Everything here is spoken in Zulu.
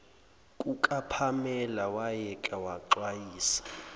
kukapamela wayeke waxwayisa